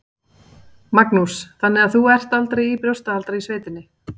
Magnús: Þannig að þú ert aldrei í brjóstahaldara í sveitinni?